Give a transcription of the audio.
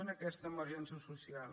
en aquesta emergència social